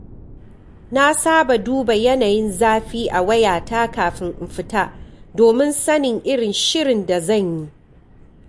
Na saba duba yanayin zafi a wayata kafin in fita domin sanin irin shirin da zan yi.